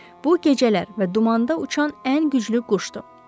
Bu gecələr və dumanda uçan ən güclü quşdur.